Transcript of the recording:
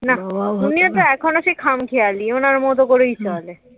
না উনিও সে এখনো তো খামখেয়ালী ওনার মতো করে চলে